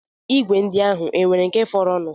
Igwe ndị ahụ e nwere nke fọrọnụ?